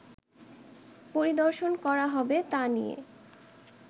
পরিদর্শন করা হবে তা নিয়ে